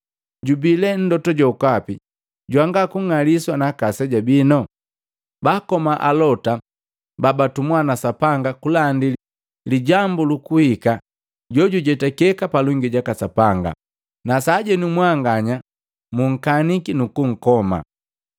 Jubii lee Mlota jokapi jwanga kung'aliswa naaka aseja bino? Baakoma Alota babatumwa na Sapanga kulandi lijambu lukuhika jojujetakeka palongi jaka Sapanga. Na sajenu mwanganya munkaniki nuku nkoma.